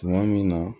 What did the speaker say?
Tuma min na